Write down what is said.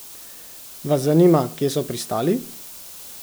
Vas zanima, kje so pristali?